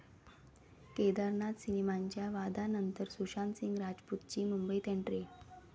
केदारनाथ सिनेमाच्या वादानंतर सुशांत सिंग राजपूतची मुंबईत एंट्री